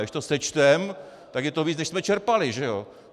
A když to sečteme, tak je to víc, než jsme čerpali, že jo.